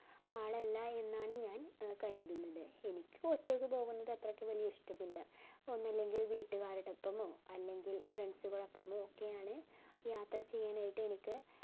ആളല്ലാ എന്നാണ് ഞാൻ കരുതുന്നത് എനിക്ക് ഒറ്റക് പോവുന്നത്ത് അത്രക് വെല്യ ഇഷ്ട്ടമ്മില്ല ഒന്നെങ്കിൽ വീട്ടുകാരോടാപ്പൊമോ അല്ലെങ്കിൽ friends ഓടപ്പമോ ഒക്കെയാണ് യാത്ര ചെയ്യാൻ ആയിട്ട് എനിക്ക്